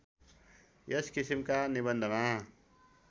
यस किसिमका निबन्धमा